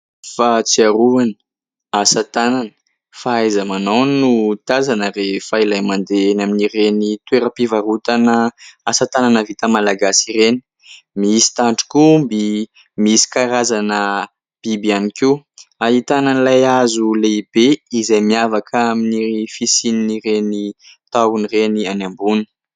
Fahatsiarovana, asa tanana. Fahaiza-manao no tazana rehefa ilay mandeha eny amin'ireny toeram-pivarotana asa tanana vita malagasy ireny. Misy tandrok'omby, misy karazana biby ihany koa. Ahitana an'ilay hazo lehibe izay miavaka amin'ny fisian'ireny tahony ireny any ambony.